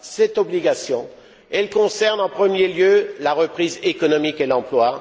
Cette obligation, elle concerne en premier lieu la reprise économique et l'emploi.